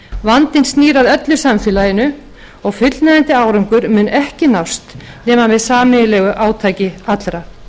vandinn snýr að öllu samfélaginu og fullnægjandi árangur mun ekki nást nema með sameiginlegu átaki allra